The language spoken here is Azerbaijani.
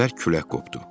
Bərk külək qopdu.